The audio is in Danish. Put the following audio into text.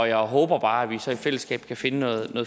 jeg håber bare at vi så i fællesskab kan finde noget